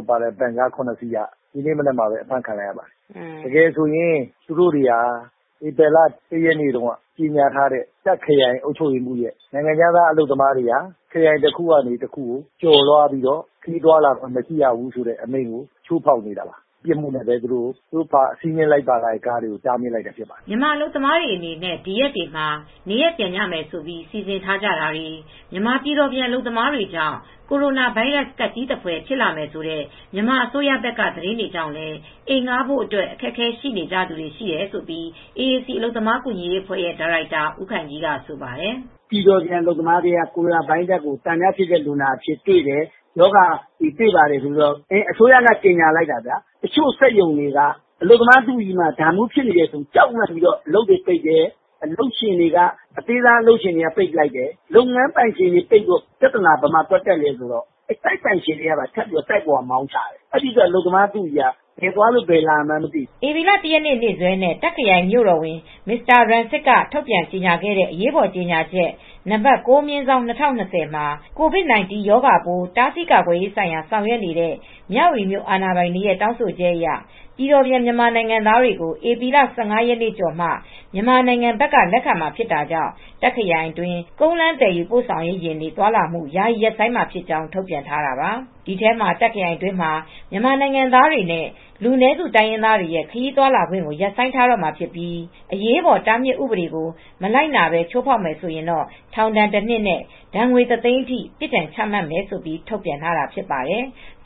က်ပါတဲ့ ဗင်ကား ၇စီးက ဒီကနေ့ပဲ ဖမ်းလိုက်ပါတယ်။ သူတို့တွေဟာ ဧပြီလ ၁ရက်နေ့က ကြေငြာထားတဲ့ တာ့ခ်ခရိုင်အုပ်ချုပ်ရေးမှူးက နိုင်ငံခြားသားအလုပ်သမားတွေအနေနဲ့ ခရိုင်တခုကနေ တခုကနေ ကျော်သွားလို့ မရဘူးဆိုတာကို ချိုးဖောက်တာပါ။ ဒီချိုးဖောက်နဲ့ပဲ သူတို့ကို ဖမ်းဆီးလိုက်တာပါ။" မြန်မာအလုပ်သမားတွေအနေနဲ့လည်း ဒီရက်တွေမှာ နေရပ်ပြန်ကြမယ်ဆိုပြီး စီစဉ်ထားကြသူတွေ မြန်မာပြည်တော်ပြန် အလုပ်သမားတွေကြောင့် ကိုရိုနာဗိုင်းရပ်စ်ကပ်ကြီးသဖွယ် ဖြစ်လာမယ်ဆိုတဲ့ မြန်မာအစိုးရဘက်က သတင်းကြောင့်လည်း အိမ်ငှားဖို့အတွက် အခက်အခဲရှိကြသူတွေလည်း ရှိနေတယ်လို့ AAC အလုပ်သမားကူညီရေးအဖွဲ့ရဲ့ ဒါရိုက်တာဦးခိုင်ကြီးက ဆိုပါတယ်။ "ပြည်တော်ပြန် အလုပ်သမားထဲက ကိုရိုနာဗိုင်းရပ်စ်ကို သံသယဖြစ်တဲ့ လူနာကိုတွေ့တယ်။ ရောဂါ ဖြစ်တယ်ဆိုပြီး မြန်မာအစိုးရက ကြေငြာလိုက်တော့ တချို့ ထိုင်းအလုပ်ရှင်တွေက အလုပ်သမားတွေထဲမှာ အဲဒီမှာတွေ့တယ်ဆိုပြီး ကြောက်လန့်ပြီး စက်ရုံငယ်တွေ ပိတ်ပစ်တယ်။ အဲဒီလို ပိတ်တော့ သူတို့ ငှားနေတဲ့နေရာတွေက တိုက်ပိုက်ရှင်တွေကလည်း မောင်းချတယ်။ အဲဒီတော့ အလုပ်သမားတွေက ဘယ်နေရာသွားရမှန်းမသိဘူး။" ဧပြီလ ၁ ရက်နေ့ နေ့စွဲနဲ့ တော့ခ်ခရိုင် မြို့တော်ဝန် Mr Ratsit Samphantharat ထုတ် ပြန်ခဲ့တဲ့အရေးပေါ်ကြေငြာချက် ၉/၂၀၂၀ မှာ COVID-19 ရောဂါပိုး တားဆီးကာကွယ်ရေးဆိုင်ရာ ဆောက်ရွက်နေတဲ့ မြဝတီမြို့ အာဏာပိုင်တွေရဲ့ တောင်းဆိုချက်အရ ပြည်တော်ပြန်မြန်မာနိုင်ငံသားတွေကို ဧပြီလ ၁၅ ရက် ကျော်မှ မြန်မာနိုင်ငံဘက်က လက်ခံမှာ ဖြစ်တာကြောင့် တာ့ခ်ခရိုင်အတွင်း ကုန်းလမ်းသယ်ယူပို့ဆောင်ရေး ယာဉ်တွေသွားလာမှု ယာယီရပ်ဆိုင်းမှာဖြစ်ကြောင်း ထုတ်ပြန်ထားတာပါ။ ဒီထဲမှာ တာ့ခ်ခရိုင်အတွင်းမှာ မြန်မာနိုင်ငံသားတွေနဲ့ လူနည်းစု တိုင်းရင်းသားတွေရဲ့ ခရီးသွားလာခွင့်ကို ရပ်ဆိုင်းထားတော့မှာဖြစ်ပြီး အရေးပေါ်တားမြစ်ဥပဒေကို မလိုက်နာ ချိုးဖေါက်တယ်ဆိုရင် ထောင်ဒဏ် ၁ နှစ်နဲ့ ဒဏ်ငွေ ၁၀၀,၀၀၀ အထိ ပြစ်ဒဏ်ချမှတ်မယ်လို့ ထုန်ပြန်ထားတာ ဖြစ်ပါတယ်။